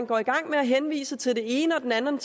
går i gang med at henvise til den ene den anden